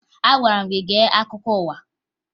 Agwara m gị gee akụkọ ụwa!